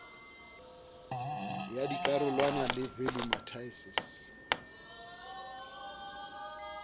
ya dikarolwana le value matices